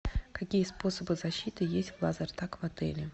какие способы защиты есть в лазертаг в отеле